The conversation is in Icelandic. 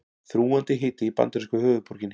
Þrúgandi hiti í bandarísku höfuðborginni